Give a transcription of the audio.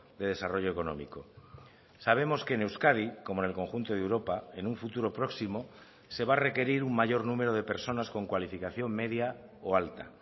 de desarrollo económico sabemos que en euskadi como en el conjunto de europa en un futuro próximo se va a requerir un mayor número de personas con cualificación media o alta